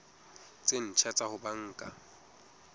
tse ntjha tsa ho banka